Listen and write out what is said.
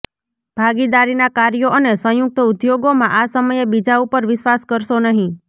ભાગીદારીના કાર્યો અને સંયુક્ત ઉદ્યોગોમાં આ સમયે બીજા ઉપર વિશ્વાસ કરશો નહીં